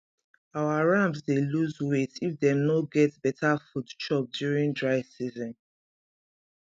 our rams dey loose weight if dem no get better food chop during dry season